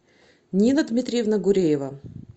нина дмитриевна гуреева